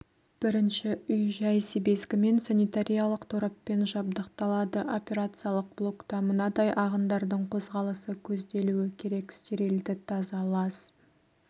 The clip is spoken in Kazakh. бірінші үй-жай себезгімен санитариялық тораппен жабдықталады операциялық блокта мынадай ағындардың қозғалысы көзделуі керек стерильді таза лас